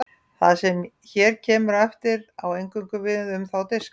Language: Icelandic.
það sem hér kemur á eftir á eingöngu við um þá diska